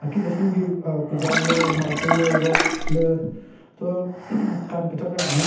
Ki teshinki aah khujal le martol le rod le cho kan kechacha jwen nyon.